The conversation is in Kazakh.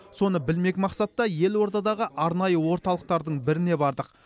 соны білмек мақсатта елордадағы арнайы орталықтардың біріне бардық